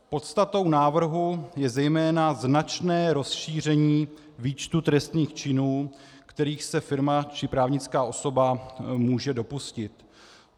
Podstatou návrhu je zejména značné rozšíření výčtu trestných činů, kterých se firma či právnická osoba může dopustit.